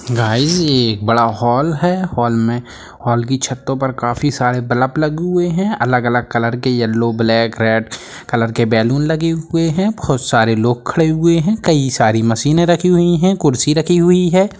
Guys ये एक बड़ा हॉल है हॉल में हॉल की छतों पे काफी सारे बल्ब लगे हुए है अलग-अलग कलर के येलो ब्लैक रेड कलर के बैलून लगे हुए है बहुत सरे लोग खड़े हुए है काई सारी मशीनें रखी हुई है कुर्सी रखी हुई है।